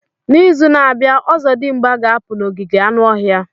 N'izu na-abịa, ozodimgba ga-apụ n'ogige anụ ọhịa.